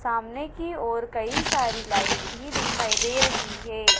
सामने की ओर कई सारी लाइट भी दिखाई दे रही है।